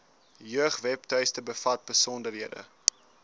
jeugwebtuiste bevat besonderhede